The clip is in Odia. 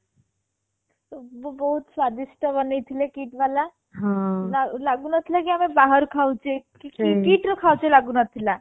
ବହୁତ ସ୍ଵାଦିଷ୍ଟ ବନେଇଥିଲେ KIIT ବାଲା ଲଗୁନଥିଲା କି ଆମେ ବାହାରେ ଖାଉଛେ KIIT ରେ ଖାଉଛେ ଲାଗୁନଥିଲା